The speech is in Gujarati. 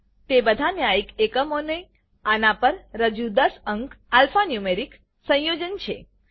તે બધા ન્યાયિક એકમોને આના પર રજૂ દસ અંક આલ્ફાન્યૂમેરિક સંયોજન છે